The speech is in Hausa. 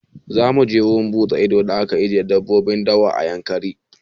Za mu je wurin buɗe ido da ake ajiye dabbobin dawa na Yankari.